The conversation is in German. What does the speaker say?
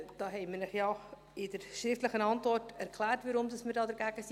Wir haben Ihnen ja in der schriftlichen Antwort erklärt, weshalb wir dagegen sind.